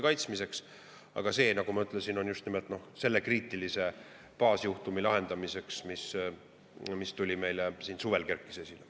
Aga see, nagu ma ütlesin, on just nimelt sellise kriitilise baasjuhtumi lahendamiseks, mis meil siin suvel esile kerkis.